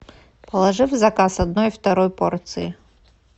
положи в заказ одной второй порции